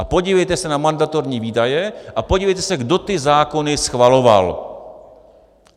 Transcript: A podívejte se na mandatorní výdaje a podívejte se, kdo ty zákony schvaloval.